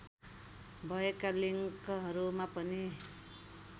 भएका लिङ्कहरूमा पनि